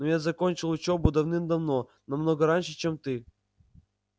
но я закончил учёбу давным-давно намного раньше чем ты